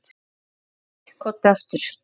Æ pabbi, komdu aftur.